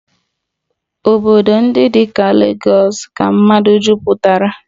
Obodo ndị dị ka Legọs ka mmadụ jupụtara